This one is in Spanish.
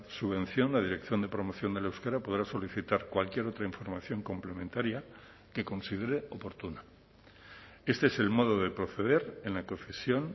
subvención la dirección de promoción del euskera podrá solicitar cualquier otra información complementaria que considere oportuna este es el modo de proceder en la concesión